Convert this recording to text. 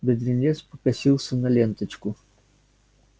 бедренец покосился на ленточку